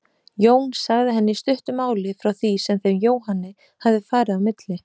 Jón sagði henni í stuttu máli frá því sem þeim Jóhanni hafði farið á milli.